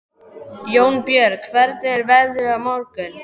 Jónbjörg, hvernig er veðrið á morgun?